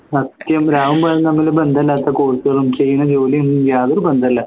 സത്യം രാവും പകലും തമ്മിൽ ബന്ധല്ലാത്ത course കളും ചെയ്യുന്ന ജോലിയും അതൊരു ബന്ധവല്ല